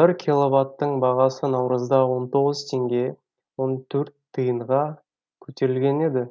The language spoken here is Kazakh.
бір киловатттың бағасы наурызда он тоғыз теңге он төрт тиынға көтерілген еді